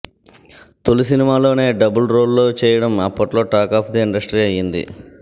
తోలి సినిమాలోనే double role లో చేయడం అప్పట్లో టాక్ అఫ్ ది ఇండస్ట్రీ అయ్యింది